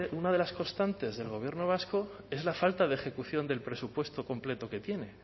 una de las constantes del gobierno vasco es la falta de ejecución del presupuesto completo que tiene